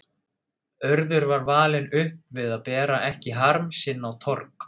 Urður var alin upp við að bera ekki harm sinn á torg.